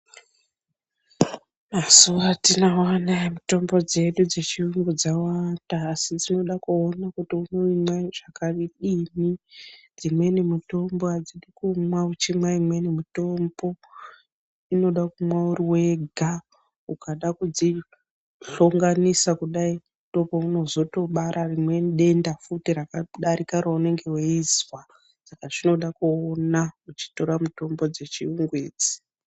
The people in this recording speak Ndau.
Mazuwa atinawo anaya mitombo dzedu dzechirungu dzawanda ,asi dzinoda kuona kuti unoimwe zvakadini dzimweni mitombo hadzidi kumwa uchinwa imweni mitombo inoda kunwa dzega ukada kudzihlonganisa kudai ndopaunozotobara rimweni denda futi rakadarika raunenge veizwa , saka zvinoda kuona uchitora mutombo dzechirungu idzi.